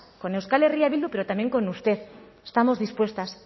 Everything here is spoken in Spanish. con euskal herria bildu pero también con usted estamos dispuestas